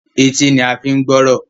Etí ní a fín gbọrọ.